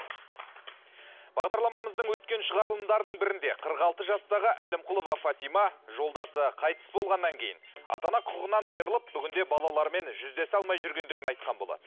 бағдарламамыздың өткен шығарылымдарының бірінде қырық алты жастағы әлімқұлова фатима жолдасы қайтыс болғаннан кейін ата ана құқығынан айрылып бүгінде балаларымен жүздесе алмай жүргендігін айтқан болатын